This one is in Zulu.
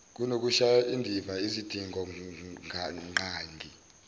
kunokushaya indiva izidingonqangi